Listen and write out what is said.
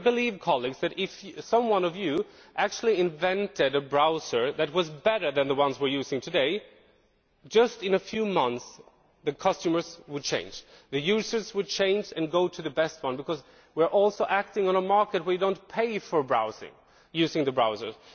I believe, colleagues, that if one of you invented a browser that was better than the ones we are using today, just in a few months the customers would change the users would change and go to the best one, because we are also acting on a market and we do not pay for using the browsers.